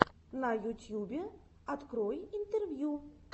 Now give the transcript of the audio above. на ютьюбе открой интервью